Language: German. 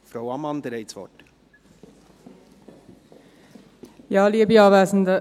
Frau Ammann, Sie haben das Wort.